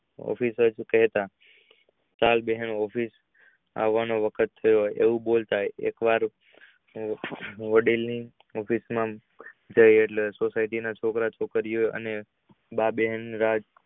અભી જ કેહતા આ વખત તોવો એવું બોલતા પછી એક વખત એવું બોલતા પછી વડીલ એટલે society છોકરા છોકરી નો અને માં બહેનો